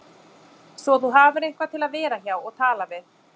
Svo þú hafir einhvern til að vera hjá og tala við